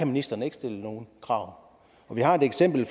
ministeren ikke stille nogen krav vi har et eksempel